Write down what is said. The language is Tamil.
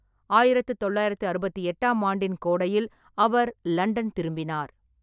ஆயிரத்து தொள்ளாயிரத்து அறுபத்தி எட்டாம் ஆண்டின் கோடையில் அவர் லண்டன் திரும்பினார்.